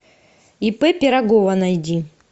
ип пирогова найди